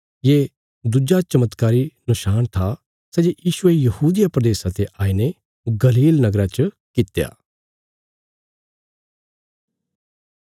ये दुज्जा चमत्कारी नशाण था सै जे यीशुये यहूदिया प्रदेशा ते आईने गलील नगरा च कित्या